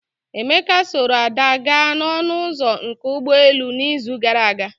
Emeka sooro Ada gaa na ọnụ ụzọ nke ụgbọ elu na izu gara aga